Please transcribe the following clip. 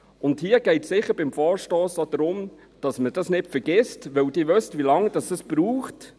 Und hier geht es beim Vorstoss sicher auch darum, dass man dies nicht vergisst, denn Sie wissen, wie lange es braucht.